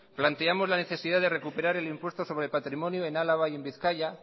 planteamos la necesidad de recuperar el impuesto sobre patrimonio en álava y en bizkaia